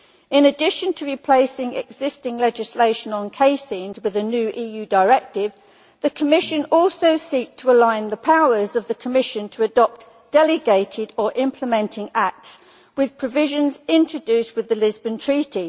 In addition to replacing existing legislation on caseins with a new EU directive, the Commission also seeks to align the powers of the Commission to adopt delegated or implementing acts with provisions introduced with the Lisbon Treaty.